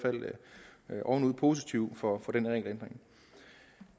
fald ovenud positive for den regelændring